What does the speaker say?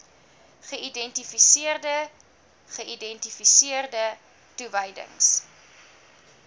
geïdentifiseerde geïdentifiseerde toewysings